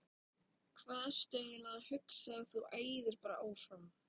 Hvað ertu eiginlega að hugsa. þú æðir bara áfram!